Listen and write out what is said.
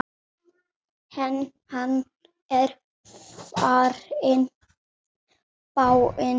Hann er farinn, dáinn.